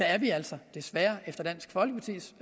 er vi altså desværre efter dansk folkepartis